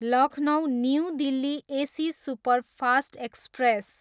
Lucknow, new Delhi AC superfast express